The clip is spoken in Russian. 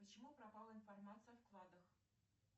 почему пропала информация о вкладах